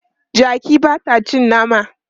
Jaki ba ta cin nama.